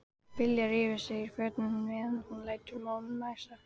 Bylgja rífur sig úr fötunum meðan hún lætur móðan mása.